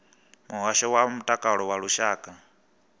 muhasho wa mutakalo wa lushaka